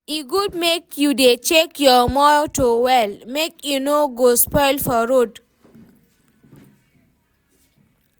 e good make u dey check your motor well make e no go spoil for road